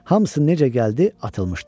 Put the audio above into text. Hamısı necə gəldi atılmışdı.